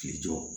K'i jɔ